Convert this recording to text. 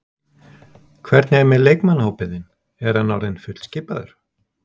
Hvernig er með leikmannahópinn þinn, er hann orðinn fullskipaður?